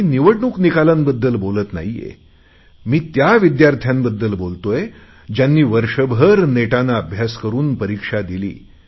मी निवडणूक निकालांबद्दल बोलत नाही आहे मी त्या विद्यार्थ्यांबद्दल बोलतोय ज्यांनी वर्षभर नेटाने अभ्यास करुन परिक्षा दिली